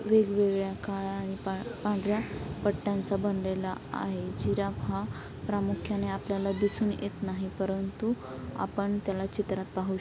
वेगवेगळ्या काळा आणि पा- पांढर्‍या पट्यांचा बनलेला आहे जिराब हा प्रामुख्याने आपल्याला दिसून येत नाही परंतु आपण त्याला चित्रात पाहू शकतो.